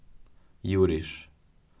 Juriš.